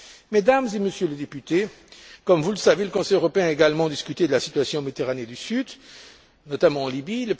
Mesdames et Messieurs les députés, comme vous le savez, le Conseil européen a également discuté de la situation en Méditerranée du Sud, notamment en Libye.